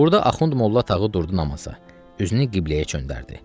Burada Axund Molla Tağı durdu namaza, üzünü qibləyə çöndərdi.